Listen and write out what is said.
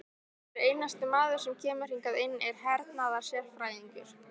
Hver einasti maður sem kemur hingað inn er hernaðarsérfræðingur!